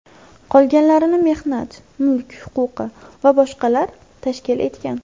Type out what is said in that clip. Qolganlarini mehnat, mulk huquqi va boshqalar tashkil etgan.